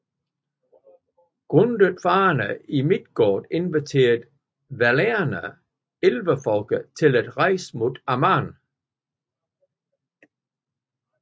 Grundet farerne i Midgård inviterede Valarne Elverfolket til at rejse mod Aman